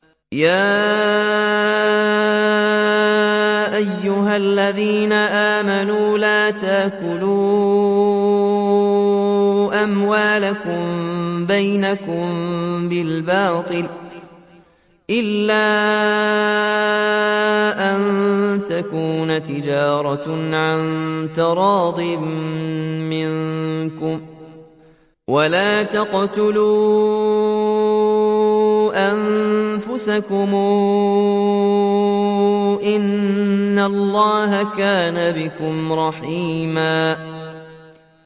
يَا أَيُّهَا الَّذِينَ آمَنُوا لَا تَأْكُلُوا أَمْوَالَكُم بَيْنَكُم بِالْبَاطِلِ إِلَّا أَن تَكُونَ تِجَارَةً عَن تَرَاضٍ مِّنكُمْ ۚ وَلَا تَقْتُلُوا أَنفُسَكُمْ ۚ إِنَّ اللَّهَ كَانَ بِكُمْ رَحِيمًا